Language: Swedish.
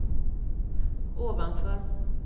ovanför